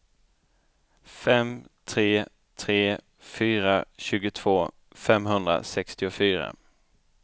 fem tre tre fyra tjugotvå femhundrasextiofyra